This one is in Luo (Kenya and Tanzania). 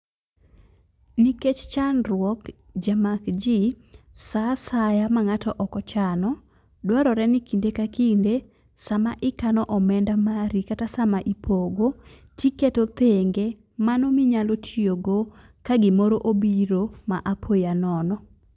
Nikech chandruok jamak jii, saa asya ma ng'ato ok ochano dwarore ni kinde ka kinde sama ikano omenda mari kata sama ipogo, tiketo tenge mano minyalo tiyogo ka gimoro obiro ma apoya nono.